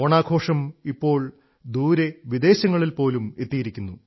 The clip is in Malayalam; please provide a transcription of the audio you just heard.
ഓണാഘോഷം ഇപ്പോൾ ദൂരെ വിദേശങ്ങളിൽ പോലും എത്തിയിരിക്കുന്നു